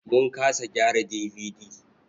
Mun kasa gyara DVD.